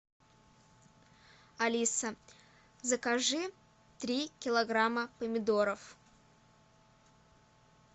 алиса закажи три килограмма помидоров